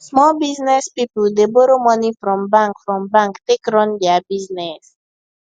small business people dey borrow money from bank from bank take run their business